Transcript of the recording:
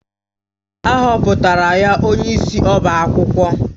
A họpụtara ya onyeisi ọbá akwụkwọ